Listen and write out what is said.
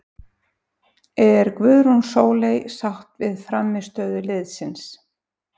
Er Guðrún Sóley sátt við frammistöðu liðsins?